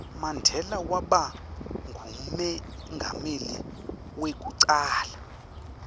mandela waba ngumengameli weku cala